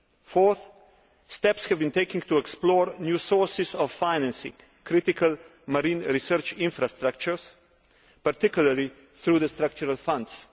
Fourth, steps have been taken to explore new sources of financing critical marine research infrastructures, particularly through the Structural Funds.